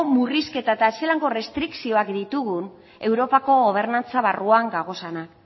murrizketataz zelango errestrikzioak ditugun europako gobernantza barruan gaudenak